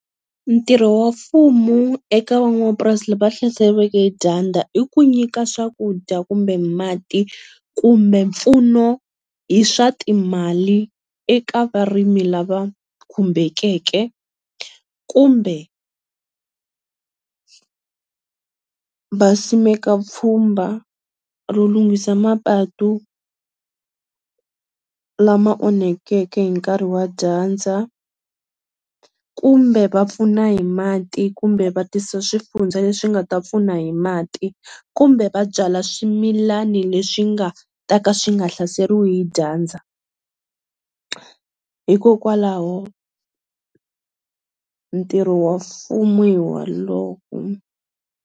Ntirho wa mfumo eka van'wamapurasi va hlaseloweke hi dyandza i ku nyika swakudya kumbe mati kumbe mpfuno hi swa timali eka varimi lava khumbekeke kumbe va simeka pfhumba ro lunghisiwa mapatu lama onhakeke hi nkarhi wa dyandza kumbe va pfuna hi mati kumbe va tisa swifundza leswi nga ta pfuna hi mati kumbe vabyala swimilani leswi swi nga ta ka swi nga hlaseriwi hi dyandza hikokwalaho ntirho wa mfumo hi wa lowo.